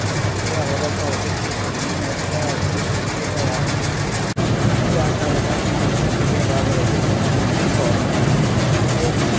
પ્રબળતા વધે છે તેમ તેમ વધતા તેમણે પ્રતિક્રિયા અનુવારસા વધારનાર પ્રતિક્રિયા બાદ રજુ કરતુ ઉદ્દીપક